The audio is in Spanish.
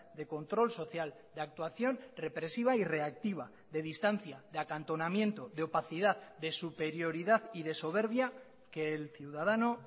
de control social de actuación represiva y reactiva de distancia de acantonamiento de opacidad de superioridad y de soberbia que el ciudadano